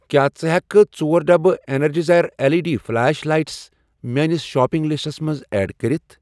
کیٛاہ ژٕ ہٮ۪ککھہٕ ژور ڈبہٕ Energizer L E D flash light میٲنِس شاپنگ لسٹَس منٛز ایڈ کٔرِتھ؟